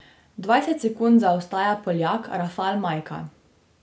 Dvajset sekund zaostaja Poljak Rafal Majka.